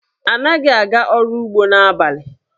Anaghị aga ọrụ ugbo n'abalị.